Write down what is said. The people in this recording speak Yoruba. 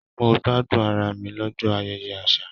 Mo gbádùn ará mi l'ọjọ ayẹyẹ àṣà.